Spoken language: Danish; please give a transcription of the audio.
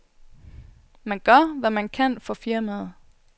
Man gør, hvad man kan for firmaet.